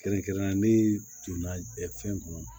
Kɛrɛnkɛrɛnnenya ne donna fɛn kɔnɔ